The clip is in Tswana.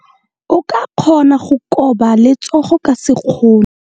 O ka kgona go koba letsogo ka sekgono.